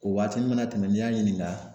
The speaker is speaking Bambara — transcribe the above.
O waati mana tɛmɛ n'i y'a ɲininka